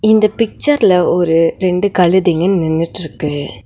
இந்த பிச்சர்ல ஒரு ரெண்டு கழுதைங்க நின்னுட்ருக்கு.